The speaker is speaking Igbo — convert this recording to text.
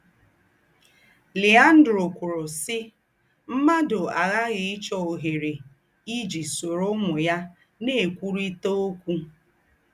Leandro kwòrò, sí, “ M̀mádù àghààghì íchọ̀ òhèrè íjì sóró úmù ya ná-ékwùrị̀tà ókwú. ”